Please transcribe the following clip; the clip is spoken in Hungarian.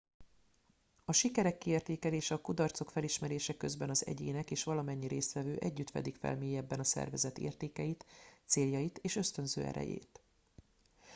a sikerek kiértékelése és a kudarcok felismerése közben az egyének és valamennyi résztvevő együtt fedik fel mélyebben a szervezet értékeit céljait és ösztönző erejét